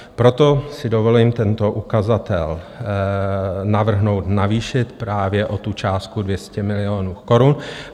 Proto si dovolím tento ukazatel navrhnout navýšit právě o tu částku 200 milionů korun.